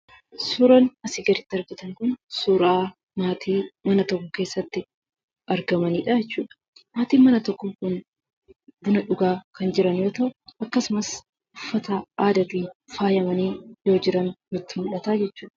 Suuraan asii gaditti argitan kun suuraa maatii mana tokko keessatti argamanii dha jechuudha. Maatiin mana tokkoo kun buna dhugaa kan jiran yoo ta'u, akkasumas uffata aadaatiin faayamanii yoo jiran nutti mul'ata jechuudha.